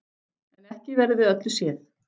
En ekki verður við öllu séð.